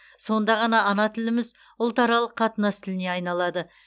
сонда ғана ана тіліміз ұлтаралық қатынас тіліне айналады